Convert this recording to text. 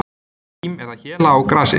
Hrím eða héla á grasi.